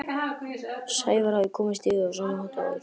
Sævar hafði komist yfir þau á sama hátt og áður.